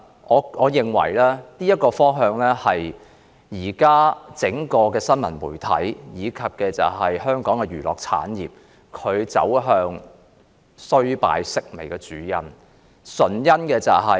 我認為這是現時整個新聞媒體，以至香港娛樂產業走向衰敗、式微的主因。